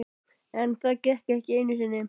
En það gekk ekki einu sinni.